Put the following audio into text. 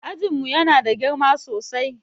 Ajin mu Yana da girma sosai